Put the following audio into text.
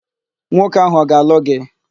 Nwoke áhụ̀ ọ ga-alụ gị?